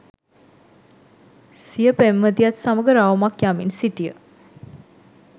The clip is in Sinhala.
සිය පෙම්වතියත් සමග රවුමක් යමින් සිටිය